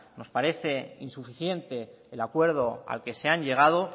nos parece insuficiente el acuerdo al que se han llegado